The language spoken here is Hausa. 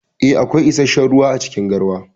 Eh, akwai issashen ruwa acikin garwa.